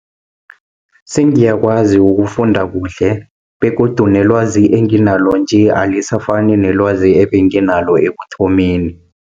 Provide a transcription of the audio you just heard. Singiyakwazi ukufunda kuhle, begodu nelwazi enginalo nje, alisafani nelwazi ebenginalo ekuthomeni.